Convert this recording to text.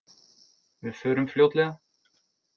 Við förum fljótlega